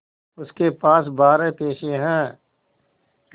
उसके पास बारह पैसे हैं